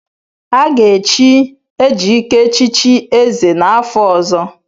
Aga echi Ejike echichi ézè n'afọ ọzọ.